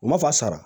U ma fa sara